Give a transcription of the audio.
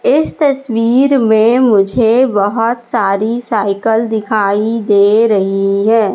इस तस्वीर में मुझे बहोत सारी साइकल दिखाई दे रही है।